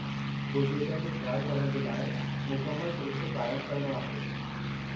बुज़ुर्गनि जो ख़्यालु करणु जे लाइ मुकमल सिरिश्तो क़ाइमु करणो आहे।